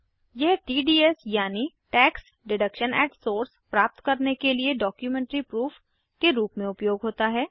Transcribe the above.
यह टीडीएस यानि प्राप्त करने के लिए डॉक्युमेंट्री प्रूफ के रूप में उपयोग होता है